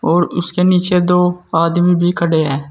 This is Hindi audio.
और उसके नीचे दो आदमी भी खड़े हैं।